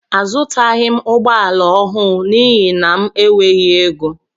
Azutaghi m ụgbọala ọhụụ n'ihi na m enweghị égo.